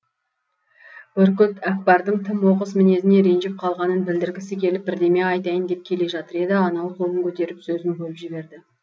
бүркіт әкпардың тым оқыс мінезіне ренжіп қалғанын білдіргісі келіп бірдеме айтайын деп келе жатыр еді анау қолын көтеріп сөзін бөліп жіберді